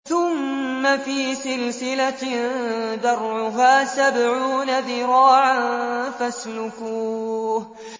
ثُمَّ فِي سِلْسِلَةٍ ذَرْعُهَا سَبْعُونَ ذِرَاعًا فَاسْلُكُوهُ